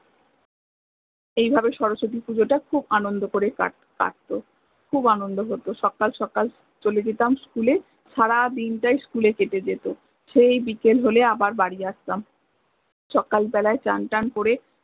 এই ভাবে শরশতি পূজোটা খুব আনন্দ করে কাট কাট্ত, খুব আনন্দ হত সকাল সকাল চলে যেতাম school এ সারাদিনটাই school এ কেটে যেত সেই বিকেল হলে আবার বাড়ি আসতাম সকাল বেলায় চান থান করে